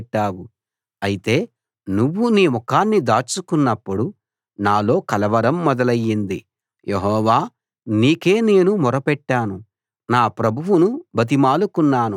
యెహోవా నీ దయతో నన్ను ఒక పర్వతంలాగా స్థిరంగా నిలబెట్టావు అయితే నువ్వు నీ ముఖాన్ని దాచుకున్నప్పుడు నాలో కలవరం మొదలైంది